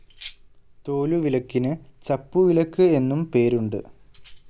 തോലുവിലക്കിന് ചപ്പുവിലക്ക് എന്നും പേരുണ്ട്.